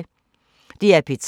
DR P3